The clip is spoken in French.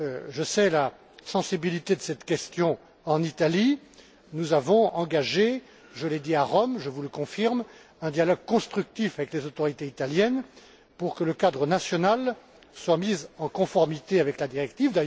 Je connais la sensibilité de cette question en Italie. Nous avons engagé je l'ai dit à Rome, je vous le confirme un dialogue constructif avec les autorités italiennes, pour que le cadre national soit mis en conformité avec la directive.